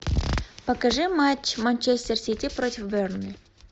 покажи матч манчестер сити против бернли